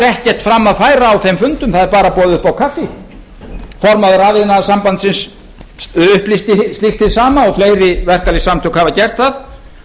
ekkert fram að færa á þeim fundum það er bara boðið upp á kaffi formaður rafiðnaðarsambandsins upplýsti slíkt hið sama og fleiri verkalýðssamtök hafa gert það